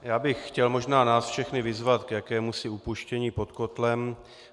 Já bych chtěl možná nás všechny vyzvat k jakémusi upuštění pod kotlem.